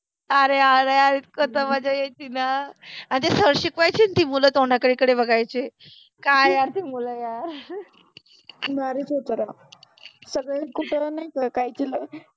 अरे अरे यार इतक त मजा यायचि न आणि जे शिकवायचे न ते तर मुल तोंडाकडे बघायचे. काय यार ते मुल यार, . भारिच होत रे, सगळे खुप पोर